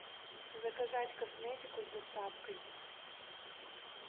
заказать косметику с доставкой